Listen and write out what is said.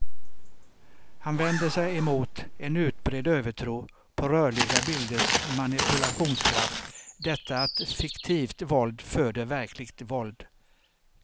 Han vänder sig emot en utbredd övertro på rörliga bilders manipulationskraft, detta att fiktivt våld föder verkligt våld.